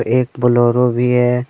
एक बोलरो भी।